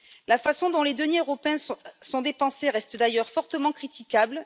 La façon dont les deniers européens sont dépensés reste d'ailleurs fortement critiquable.